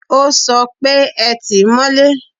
O sọ pé, Ẹ tìí mọ́lé!